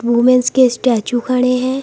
Womens के statue खड़े हैं।